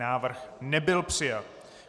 Návrh nebyl přijat.